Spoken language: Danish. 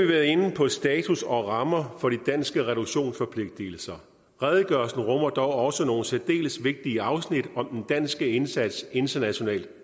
været inde på status og rammer for de danske reduktionsforpligtelser redegørelsen rummer dog også nogle særdeles vigtige afsnit om den danske indsats internationalt